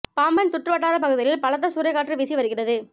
பாம்பன் சுற்று வட்டார பகுதிகளில் பலத்த சூறைக்காற்று வீசி வருகிறது